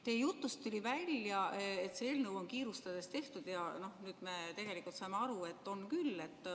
Teie jutust tuli välja, et see eelnõu on kiirustades tehtud, ja nüüd me tegelikult saame aru, et on küll.